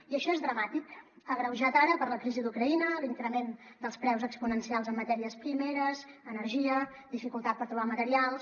i això és dramàtic agreujat ara per la crisi d’ucraïna l’increment dels preus exponencials en matèries primeres energia dificultat per trobar materials